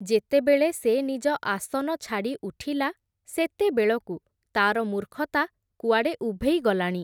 ଯେତେବେଳେ ସେ ନିଜ ଆସନ ଛାଡ଼ି ଉଠିଲା, ସେତେବେଳକୁ ତା’ର ମୂର୍ଖତା କୁଆଡ଼େ ଉଭେଇ ଗଲାଣି ।